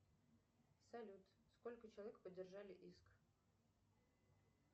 салют сколько человек поддержали иск